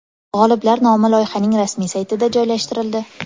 G‘oliblar nomi loyihaning rasmiy saytiga joylashtirildi.